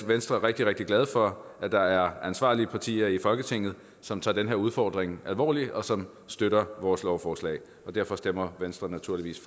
venstre rigtig rigtig glade for at der er ansvarlige partier i folketinget som tager den her udfordring alvorligt og som støtter vores lovforslag og derfor stemmer venstre naturligvis